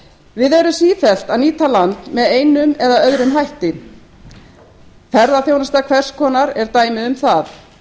við erum sífellt að nýta land með einum eða öðrum hætti ferðaþjónusta hvers konar er dæmi um það